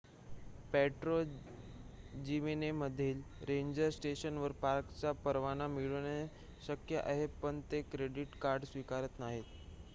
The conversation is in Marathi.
पेर्टो जिमेनेझमधील रेंजर स्टेशनवर पार्कचा परवाना मिळवणे शक्य आहे पण ते क्रेडीट कार्ड स्वीकारत नाहीत